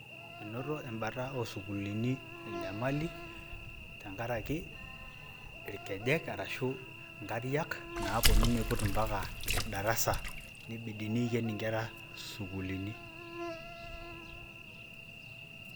enoto embata osukulini enyamali tenkaraki ilkejek, ashu inkariak, naponu niput impaka darasa, nibidi piken inkera isukulini.